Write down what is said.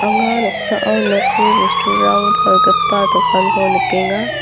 anga noksao nokni bosturang palgipa dokanko nikenga.